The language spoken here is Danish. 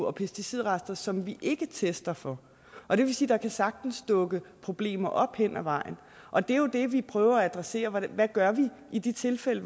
og pesticidrester som vi ikke tester for og det vil sige at der sagtens dukke problemer op hen ad vejen og det er jo det vi prøver at adressere hvad gør vi i de tilfælde